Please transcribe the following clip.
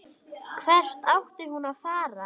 Hvert átti hún að fara?